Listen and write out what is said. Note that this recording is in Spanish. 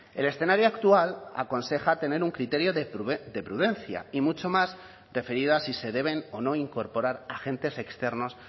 el escenario actual aconseja tener un criterio de prudencia y mucho más referido a si se deben o no incorporar agentes externos